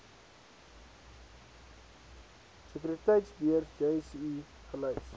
sekuriteitebeurs jse gelys